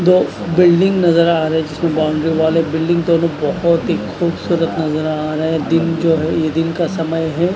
दो बिल्डिंग नजर आ रही जिसमें बाउंड्री वाल है एक बिल्डिंग तो बहोत ही खूबसूरत नजर आ रहा है दिन जो है ये दिन का समय है।